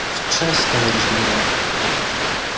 в часть товарищ генерал